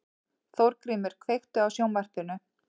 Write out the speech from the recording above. Þórgrímur, kveiktu á sjónvarpinu.